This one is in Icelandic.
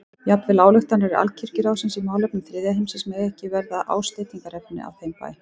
Jafnvel ályktanir Alkirkjuráðsins í málefnum þriðja heimsins mega ekki verða ásteytingarefni á þeim bæ.